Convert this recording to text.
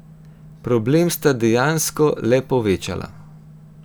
Problem sta dejansko le povečala.